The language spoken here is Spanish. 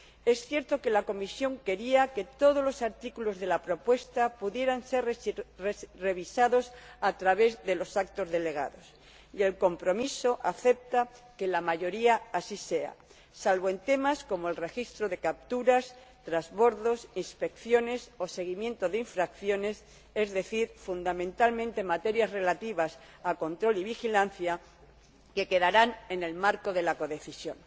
Es cierto que la Comisión quería que todos los artículos de la propuesta pudieran ser revisados a través de los actos delegados, y el compromiso acepta que la mayoría así sea, salvo en temas como el registro de capturas, trasbordos, inspecciones o seguimiento de infracciones, es decir, fundamentalmente materias relativas a control y vigilancia que quedarán en el marco de la codecisión.